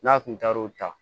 N'a kun taar'o ta